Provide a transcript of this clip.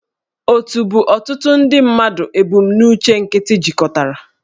Òtù bụ ọtụtụ ndị mmadụ ebumnuche nkịtị jikọtara